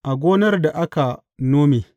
A gonar da aka nome.